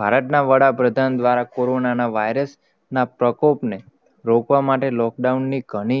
ભારત ના વદ પ્રધાન ના પ્રકોપ ને, રોકવા માટે lockdown ઘણી